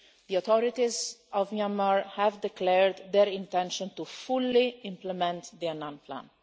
The authorities of Myanmar have declared their intention to fully implement the Annan plan.